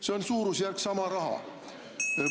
See on samas suurusjärgus raha.